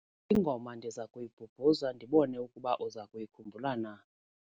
Ingoma ndiza kuyibhubhuza ndibone ukuba uza kuyikhumbula na.